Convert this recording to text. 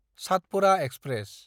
Satpura express